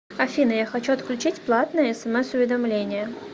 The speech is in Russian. афина я хочу отключить платные смс уведомления